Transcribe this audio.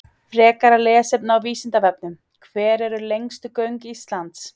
Frekara lesefni af Vísindavefnum: Hver eru lengstu göng Íslands?